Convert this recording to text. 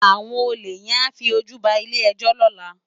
Awòn ólé yèn á fi ójú bá ilé èjò lòlá